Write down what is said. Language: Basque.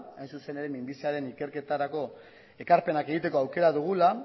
hain zuzen ere minbiziaren ikerketarako ekarpenak egiteko aukera dugula